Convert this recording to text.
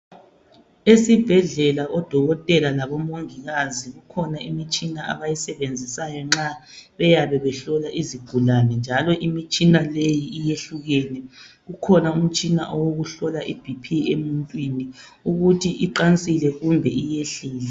Esibhedlela Odokotela labo mongikazi kukhona imitshina abayisebenzisayo nxa beyabe behlola izigulane, njalo imitshina leyi iyehlukene. Kukhona umtshina owokuhlola i-BP emuntwini ukuthi iqansile kumbe iyehlile.